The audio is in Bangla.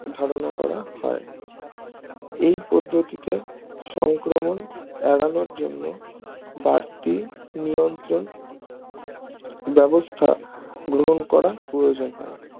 ধারণা করা হয় এই পদ্ধতিতে সংক্রমণ এড়ানোর জন্য বাড়তি নিয়ন্ত্রণ ব্যবস্থা গ্রহণ করা প্রয়োজন হয়